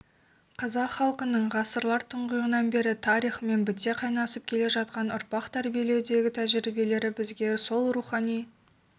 қазақ халқының ғасырлар тұңғиығынан бері тарихымен біте қайнасып келе жатқан ұрпақ тәрбиелеудегі тәжірибелері бізге сол рухани